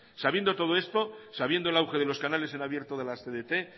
sabiendo todo esto sabiendo el auge de los canales en abierto de las tdt